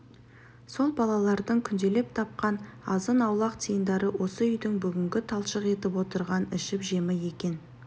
сол балалардың күнделеп тапқан азын-аулақ тиындары осы үйдің бүгінгі талшық етіп отырған ішіп-жемі екен